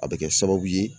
A bɛ kɛ sababu ye